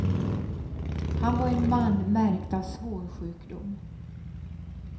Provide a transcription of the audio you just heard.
Han var en man märkt av svår sjukdom.